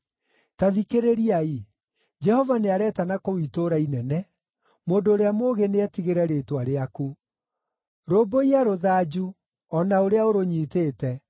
Ta thikĩrĩriai! Jehova nĩaretana kũu itũũra inene, mũndũ ũrĩa mũũgĩ nĩetigĩre rĩĩtwa rĩaku. “Rũmbũiya rũthanju, o na ũrĩa ũrũnyitĩte.